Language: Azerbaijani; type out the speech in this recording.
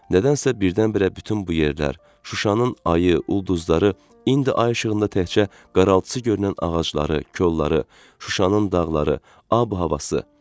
Nədənsə birdən-birə bütün bu yerlər, Şuşanın ayı, ulduzları, indi ay işığında təkcə qaraltısı görünən ağacları, kolları, Şuşanın dağları, ab-havası.